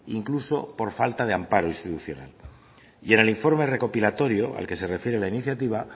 incluso por falta de amparo institucional y en el informe recopilatorio al que se refiere la iniciativa